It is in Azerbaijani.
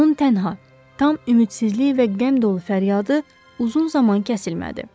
Onun tənha, tam ümidsizlik və qəm dolu fəryadı uzun zaman kəsilmədi.